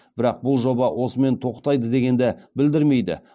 бірақ бұл жоба осымен тоқтайды дегенді білдірмейді